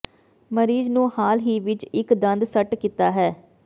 ਮਰੀਜ਼ ਨੂੰ ਹਾਲ ਹੀ ਵਿੱਚ ਇੱਕ ਦੰਦ ਸੱਟ ਕੀਤਾ ਹੈ